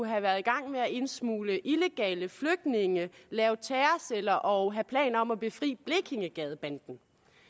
have været i gang med at indsmugle illegale flygtninge lave terrorceller og planer om at befri blekingegadebanden